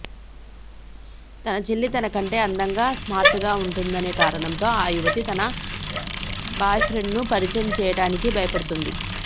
తన చెల్లి తన కంటే అందంగా స్మార్ట్గా ఉంటుందనే కారణంతో ఆ యువతి తన బాయ్ఫ్రెండ్ను పరిచయం చేయడానికి భయపడుతోంది